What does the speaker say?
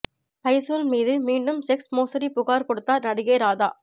பைசூல் மீது மீண்டும் செக்ஸ் மோசடி புகார் கொடுத்தார் நடிகை ராதா